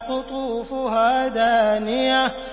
قُطُوفُهَا دَانِيَةٌ